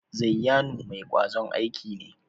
Zayyanu mai kwazon aiki ne?